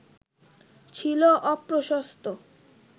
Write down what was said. ছিল অপ্রশস্ত